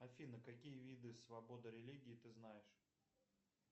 афина какие виды свободы религии ты знаешь